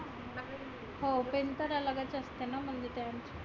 हो pin तर अलगच असतेना म्हणजे त्या.